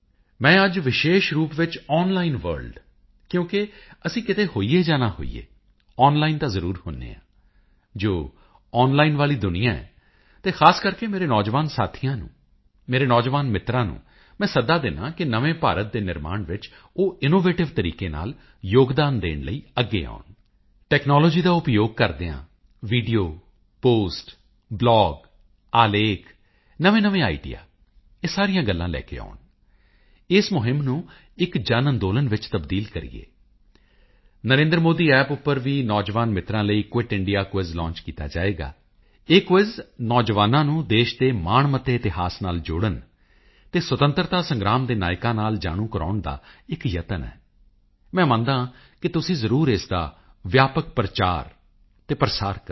ਮੈਂ ਅੱਜ ਵਿਸ਼ੇਸ਼ ਰੂਪ ਵਿੱਚ ਆਨਲਾਈਨ ਵਰਲਡ ਕਿਉਂਕਿ ਅਸੀਂ ਕਿ ਤੇ ਹੋਈਏ ਜਾਂ ਨਾ ਹੋਈਏ ਆਨਲਾਈਨ ਤਾਂ ਜ਼ਰੂਰ ਹੁੰਦੇ ਹਾਂ ਜੋ ਆਨਲਾਈਨ ਵਾਲੀ ਦੁਨੀਆਂ ਹੈ ਅਤੇ ਖਾਸ ਕਰਕੇ ਮੇਰੇ ਨੌਜਵਾਨ ਸਾਥੀਆਂ ਨੂੰ ਮੇਰੇ ਨੌਜਵਾਨ ਮਿੱਤਰਾਂ ਨੂੰ ਮੈਂ ਸੱਦਾ ਦਿੰਦਾ ਹਾਂ ਕਿ ਨਵੇਂ ਭਾਰਤ ਦੇ ਨਿਰਮਾਣ ਵਿੱਚ ਉਹ ਇਨੋਵੇਟਿਵ ਤਰੀਕੇ ਨਾਲ ਯੋਗਦਾਨ ਦੇਣ ਲਈ ਅੱਗੇ ਆਉਣ ਟੈਕਨਾਲੋਜੀ ਦਾ ਉਪਯੋਗ ਕਰਦਿਆਂ ਵੀਡੀਓ ਪੋਸਟ ਬਲਾਗ ਆਲੇਖ ਨਵੇਂਨਵੇਂ ਆਈਡੀਆ ਇਹ ਸਾਰੀਆਂ ਗੱਲਾਂ ਲੈ ਕੇ ਆਉਣ ਇਸ ਮੁਹਿੰਮ ਨੂੰ ਇੱਕ ਜਨਅੰਦੋਲਨ ਚ ਤਬਦੀਲ ਕਰੀਏ ਨਰੇਂਦਰਮੋਦੀਅੱਪ ਉੱਪਰ ਵੀ ਨੌਜਵਾਨ ਮਿੱਤਰਾਂ ਲਈ ਕੁਇਟ ਇੰਡੀਆ ਕੁਇਜ਼ ਲਾਂਚ ਕੀਤਾ ਜਾਵੇਗਾ ਇਹ ਕੁਇਜ਼ ਨੌਜਵਾਨਾਂ ਨੂੰ ਦੇਸ਼ ਦੇ ਮਾਣਮੱਤੇ ਇਤਿਹਾਸ ਨਾਲ ਜੋੜਨ ਅਤੇ ਸੁਤੰਤਰਤਾ ਸੰਗਰਾਮ ਦੇ ਨਾਇਕਾਂ ਨਾਲ ਜਾਣੂ ਕਰਾਉਣ ਦਾ ਇੱਕ ਯਤਨ ਹੈ ਮੈਂ ਮੰਨਦਾ ਹਾਂ ਕਿ ਤੁਸੀਂ ਜ਼ਰੂਰ ਇਸ ਦਾ ਵਿਆਪਕ ਪ੍ਰਚਾਰ ਕਰੋ ਪ੍ਰਸਾਰ ਕਰੋ